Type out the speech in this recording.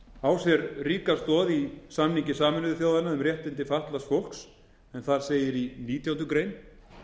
á sér ríka stoð í samningi sameinuðu þjóðanna um réttindi fatlaða fólks en þar segir í nítjánda grein